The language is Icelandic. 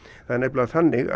það er þannig